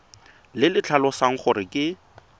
le le tlhalosang gore ke